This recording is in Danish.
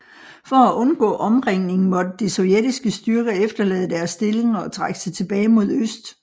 For at undgå omringning måtte de sovjetiske styrker efterlade deres stillinger og trække sig tilbage mod øst